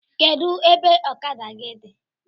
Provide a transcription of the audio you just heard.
Kedụ ebe ọkada gị dị?